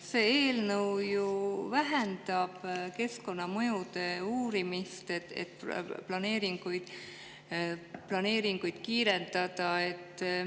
See eelnõu ju vähendab keskkonnamõjude uurimist, et planeeringuid kiirendada.